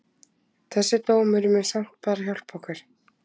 Þessi dómur mun samt bara hjálpa okkur.